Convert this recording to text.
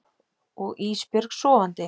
Og Ísbjörg sofandi.